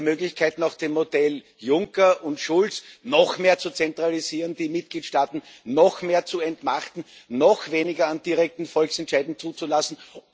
Sie haben die Möglichkeit, nach dem Modell Juncker und Schulz noch mehr zu zentralisieren, die Mitgliedstaaten noch mehr zu entmachten, noch weniger an direkten Volksentscheiden zuzulassen.